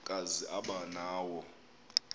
kazi aba nawo